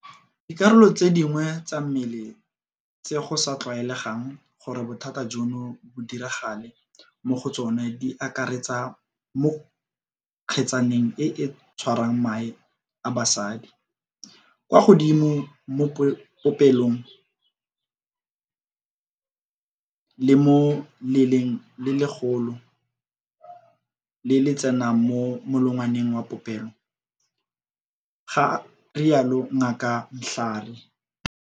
"Dikarolo tse dingwe tsa mmele tse go sa tlwaelegang gore bothata jono bo diragale mo go tsone di akaretsa mo kgetsaneng e e tshwarang mae a bosadi, kwa godimo mo popelong le mo leleng le legolo le le tsenang mo molongwaneng wa popelo," ga rialo Ngaka Mhlari.